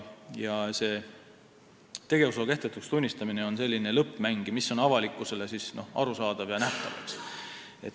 Tegevusloa kehtetuks tunnistamine on selline lõppmäng, mis on avalikkusele arusaadav ja nähtav.